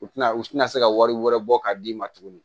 U tina u tɛna se ka wari wɛrɛ bɔ k'a d'i ma tuguni